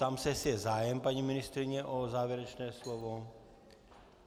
Ptám se, jestli je zájem, paní ministryně, o závěrečné slovo.